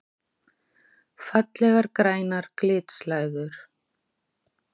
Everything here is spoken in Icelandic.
Fallegar grænar glitslæður!